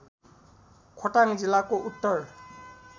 खोटाङ जिल्लाको उत्तर